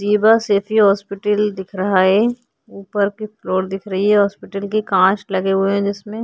Zeba Saifi hospital दिख रहा है। ऊपर के फ्लोर दिख रही है। हॉस्पिटल के कांच लगे हुए हैं जिसमें।